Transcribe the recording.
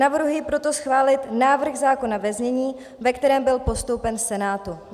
Navrhuji proto schválit návrh zákona ve znění, ve kterém byl postoupen Senátu.